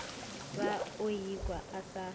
ba o ikwa o sa